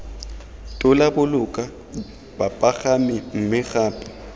tola boloka bapagami mme gape